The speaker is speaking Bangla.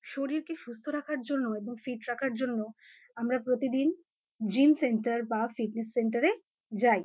শরীরকে সুস্থ রাখার জন্য এবং ফিট রাখার জন্য আমরা প্রতিদিন জিম সেন্টার বা ফিটনেস সেন্টার এ যাই।